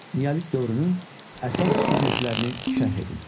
Neolit dövrünün əsas xüsusiyyətlərini şərh edin.